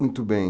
Muito bem.